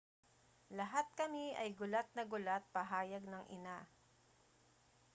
lahat kami ay gulat na gulat pahayag ng ina